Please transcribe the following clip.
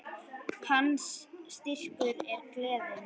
Hans styrkur er gleðin.